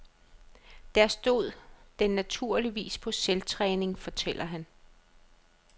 Der stod den naturligvis på selvtræning, fortæller han.